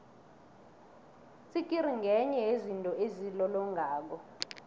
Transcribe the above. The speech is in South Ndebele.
itsikiri ngenye yezinto ezilolongako